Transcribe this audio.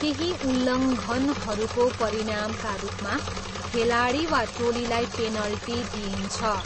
केही उल्लङ्घनहरूको परिणामका रूपमा खेलाडी वा टोलीलाई पेनल्टी दिइन्छ।